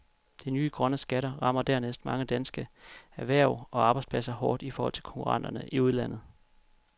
De nye grønne skatter rammer dernæst mange danske erhverv og arbejdspladser hårdt i forhold til konkurrenterne i udlandet.